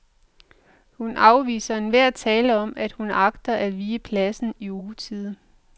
Hun afviser enhver tale om, at hun agter at vige pladsen i utide.